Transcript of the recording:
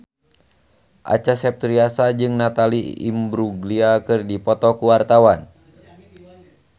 Acha Septriasa jeung Natalie Imbruglia keur dipoto ku wartawan